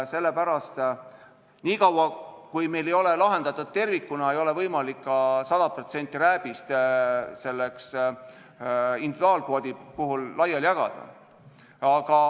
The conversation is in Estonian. Sellepärast, niikaua, kui meil ei ole see lahendatud tervikuna, ei ole võimalik ka rääbise puhul 100% individuaalkvoodina laiali jagada.